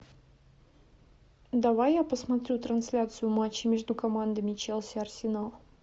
давай я посмотрю трансляцию матча между командами челси арсенал